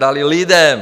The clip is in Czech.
Dali lidem.